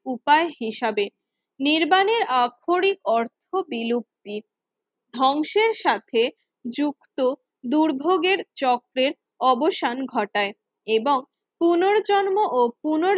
উপায় হিসাবে নির্মাণের আক্ষরিক অর্থ বিলুপ্তির ধ্বংসের সাথে যুক্ত দুর্ভোগের চক্রের অবসান ঘটায় এবং পুনর্জন্ম ও পুনর